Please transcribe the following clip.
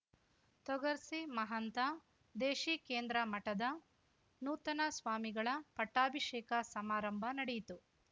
ತೊಗರ್ಸಿ ಮಹಂತ ದೇಶೀಕೇಂದ್ರ ಮಠದ ನೂತನ ಸ್ವಾಮಿಗಳ ಪಟ್ಟಾಬಿಷೇಕ ಸಮಾರಂಭ ನಡೆಯಿತು